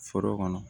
Foro kɔnɔ